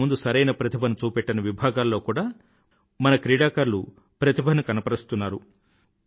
ఇంతకు ముందు సరైన ప్రతిభను చూపెట్టని విభాగాలలో కూడా మన క్రీడాకారులు ప్రతిభను కనబరుస్తున్నారు